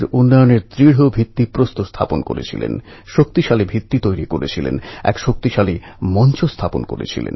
ভগবান বিট্ঠল দরিদ্র অসহায় পীড়িতদের স্বার্থরক্ষা করেন